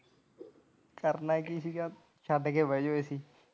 ਕਰਨਾ ਕੀ ਸੀ ਗਾ ਛੱਡ ਕੇ ਬਹਿ ਜਾਓ AC